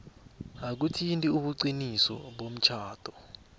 akuthinti ubuqiniso bomtjhado